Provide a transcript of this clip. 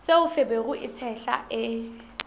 seo feberu e tshehla e